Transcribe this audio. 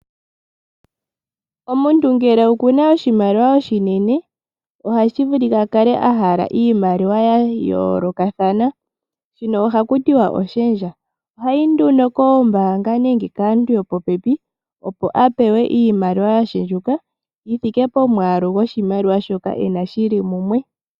Omuntu ngele okuna oshimaliwa oshinene ohashivulika akale ahala iimaliwa ya yoolokathana, shino ohakutiwa oshendja, ohayi nduno kOombaanga nenge kaantu yopopepi opo apewe iimaliwa yashendjuka yithike pomwaalu goshimaliwa shoka ena shili mumwe.